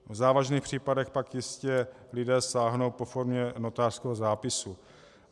V závažných případech pak jistě lidé sáhnou po formě notářského zápisu.